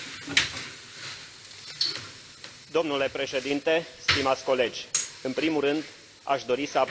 Domnule Președinte, stimați colegi, în primul rând aș dori să apreciez raportul doamnei Garcia Perez.